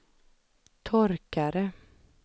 torkare